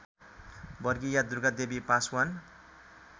वर्षीया दुर्गादेवी पासवान